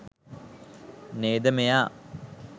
නේද මෙයා